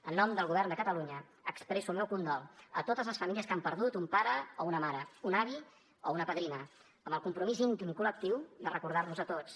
en nom del govern de catalunya expresso el meu condol a totes les famílies que han perdut un pare o una mare un avi o una padrina amb el compromís íntim i col·lectiu de recordar los a tots